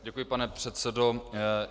Děkuji, pane předsedo.